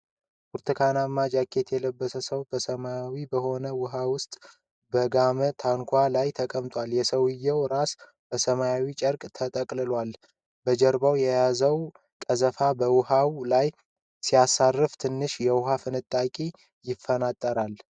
ብርቱካናማ ጃኬት የለበሰ ሰው ሰማያዊ በሆነ ውሃ ውስጥ በጋማ ታንኳ ላይ ተቀምጧል፡፡ የሰውየው ራስ በሰማያዊ ጨርቅ ተጠቅልሏል፡፡ በጀርባው የያዘውን ቀዘፋ በውሃው ላይ ሲያሳርፍ ትንሽ የውሃ ፍንጣቂ ይፈጥራል፡፡